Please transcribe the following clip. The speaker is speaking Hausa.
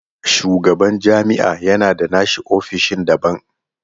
Shugaban jami'a ya na da nashi ofishin daban.